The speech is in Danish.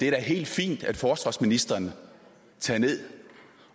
er helt fint at forsvarsministeren tager ned